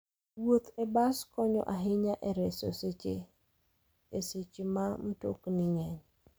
Wuoth e bas konyo ahinya e reso seche e seche ma mtokni ng'eny.